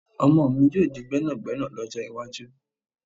Ọmọ mi yóò di gbẹ́nàgbẹ́nà lọ́jọ́ iwájú